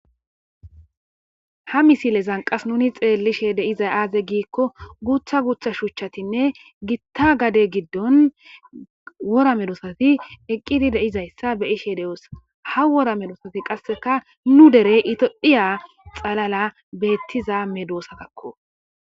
ha misile zanqas nuni xeellishe deiza aaze giikko guutha gutha shuuchchatinne gitta gade giddon wora medosati eqqidi deizayssa beyishe de7oosa ha wora medosati qasseka nu derey itohiya xalala beettiza medosatakko